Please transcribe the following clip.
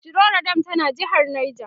shiroro dam tana jehar neja